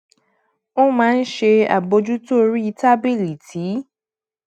ó máa ń ṣe àbójútó orí tábìlì tí